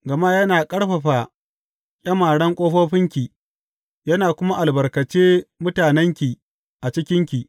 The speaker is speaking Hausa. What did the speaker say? Gama yana ƙarfafa ƙyamaren ƙofofinki yana kuma albarkace mutanenki a cikinki.